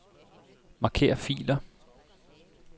Marker filer.